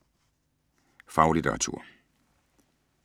Faglitteratur